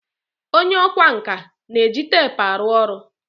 onye ọkwá nkà na-eji teepu arụ ọrụ